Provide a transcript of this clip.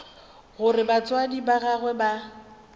gore batswadi ba gagwe ba